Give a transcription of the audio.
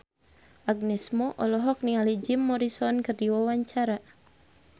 Agnes Mo olohok ningali Jim Morrison keur diwawancara